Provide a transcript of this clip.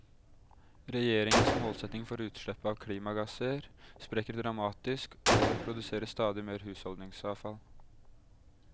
Regjeringens målsetting for utslipp av klimagasser sprekker dramatisk, og det produseres stadig mer husholdningsavfall.